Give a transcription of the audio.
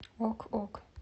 ок ок